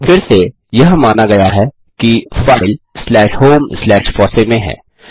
फिर से यह माना गया है कि file slash home slash fossee में है